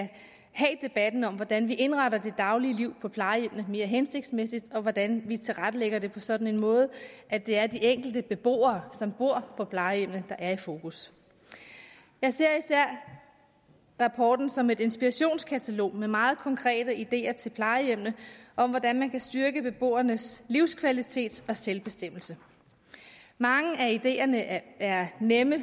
have debatten om hvordan vi indretter det daglige liv på plejehjemmene mere hensigtsmæssigt og hvordan vi tilrettelægger det på sådan en måde at det er de enkelte beboere som bor på plejehjemmene der er i fokus jeg ser især rapporten som et inspirationskatalog med meget konkrete ideer til plejehjemmene om hvordan man kan styrke beboernes livskvalitet og selvbestemmelse mange af ideerne er nemme